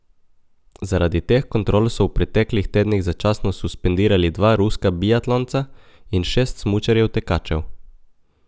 Zaradi teh kontrol so v preteklih tednih začasno suspendirali dva ruska biatlonca in šest smučarjev tekačev.